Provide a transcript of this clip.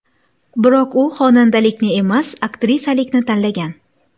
Biroq u xonandalikni emas, aktrisalikni tanlagan.